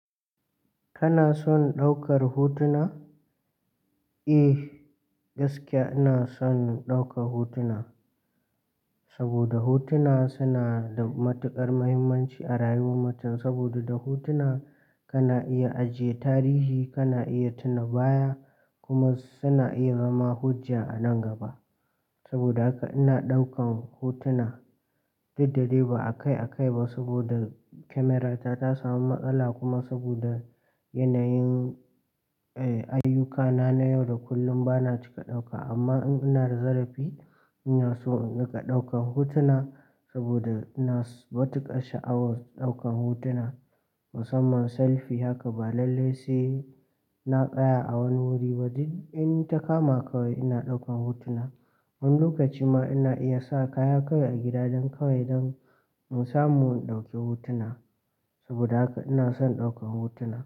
Kana son ɗaukar hotuna? Eh, gaskiya ina son ɗaukar hotuna. Saboda hotuna suna da matuƙar muhimmanci a rayuwar mutum. Saboda da hotuna kana iya ajiye tarihi, kana iya tuna baya, kuma suna iya zama hujja a nan gaba. Sabida haka ina ɗaukan hotuna. Da daddare ba a kai a kai ba saboda kyamarata ta sami matsala kuma saboda yanayin, eh, ayyukana na yau da kullum bana cika ɗauka. Amma in ina da zarafi ina so in riƙa ɗaukan hotuna saboda ina da matuƙar sha'awar ɗaukan hotuna, musamman selfi haka ba lallai sai na tsaya a wani wuri. A in duk in ta kama kawai ina ɗaukan hotuna. Wani lokacin ma ina iya sa kaya kawai a gida don kawai don in samu in ɗauki hotuna. Saboda haka ina son ɗaukan hotuna.